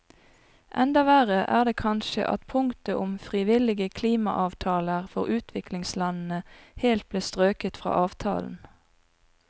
Enda verre er det kanskje at punktet om frivillige klimaavtaler for utviklingslandene helt ble strøket fra avtalen.